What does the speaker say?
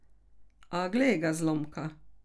A, glej ga zlomka!